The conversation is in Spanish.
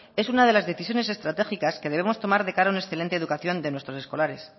es una de las decisiones estratégicas que debemos tomar de cara a una excelente educación de nuestros escolares